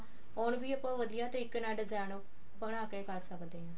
ਹੋਰ ਵੀ ਆਪਾਂ ਵਧੀਆ ਤਰੀਕੇ ਨਾਲ design ਬਣਾ ਕੇ ਕਰ ਸਕਦੇ ਹਾਂ